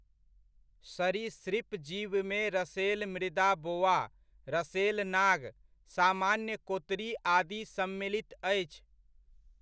सरीसृप जीवमे रसेल मृदा बोआ, रसेल नाग, सामान्य कोतरी आदि सम्मिलित अछि।